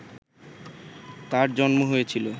তাঁর জন্ম হয়েছিল